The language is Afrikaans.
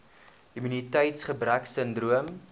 immuniteits gebrek sindroom